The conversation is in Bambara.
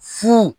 Furu